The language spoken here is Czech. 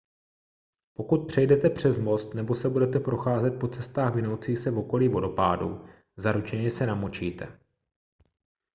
pokud přejdete přes most nebo se budete procházet po cestách vinoucích se v okolí vodopádů zaručeně se namočíte